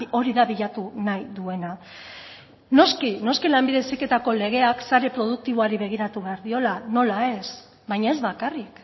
hori da bilatu nahi duena noski noski lanbide heziketako legeak sare produktiboari begiratu behar diola nola ez baina ez bakarrik